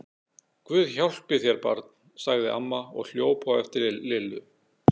Guð hjálpi þér barn! sagði amma og hljóp á eftir Lillu.